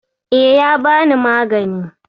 E, ya bani magani.